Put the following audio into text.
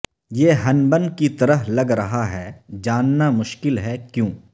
یہ ہنبن کی طرح لگ رہا ہے جاننا مشکل ہے کیوں